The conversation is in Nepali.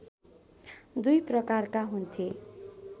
दुई प्रकारका हुन्थे